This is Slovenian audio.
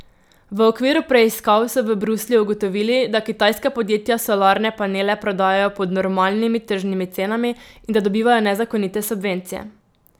V okviru preiskav so v Bruslju ugotovili, da kitajska podjetja solarne panele prodajajo pod normalnimi tržnimi cenami in da dobivajo nezakonite subvencije.